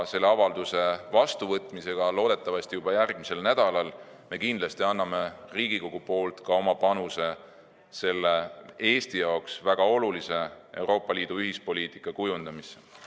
Selle avalduse vastuvõtmisega loodetavasti juba järgmisel nädalal me kindlasti anname ka Riigikogu panuse Eesti jaoks väga olulise Euroopa Liidu ühispoliitika kujundamisse.